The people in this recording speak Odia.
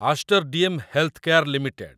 Esther DM Healthcare limited